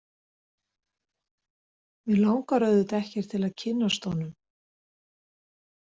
Mig langar auðvitað ekkert til að kynnast honum.